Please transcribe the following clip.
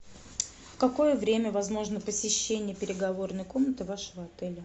в какое время возможно посещение переговорной комнаты вашего отеля